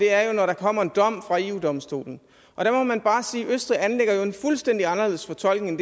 er jo når der kommer en dom fra eu domstolen der må man bare sige at østrig jo anlægger en fuldstændig anderledes fortolkning